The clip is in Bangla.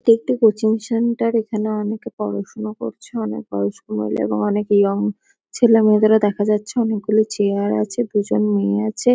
এটি একটি কোচিং সেন্টার এখানে অনেকে পড়াশুনা করছে। অনেক বয়স্ক মহিলা এবং অনেক ইয়ং ছেলেমেয়েদেরও দেখা যাচ্ছে। অনেকগুলো চেয়ার আছে। দুজন মেয়ে আছে।